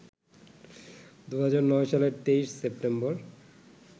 ২০০৯ সালের ২৩ সেপ্টেম্বর